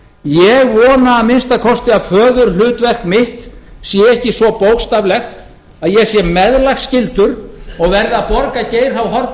ég vona að minnsta kosti að föðurhlutverk mitt sé ekki svo bókstaflegt að ég sé meðlagsskyldur og verði að borga geir h